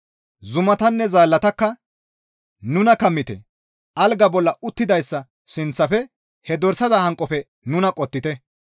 Zumatanne zaallatakka, «Nuna kammite! Algaa bolla uttidayssa sinththafe, he dorsaza hanqofe nuna qottite.